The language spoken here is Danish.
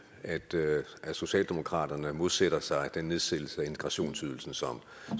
at socialdemokratiet modsætter sig den nedsættelse af integrationsydelsen som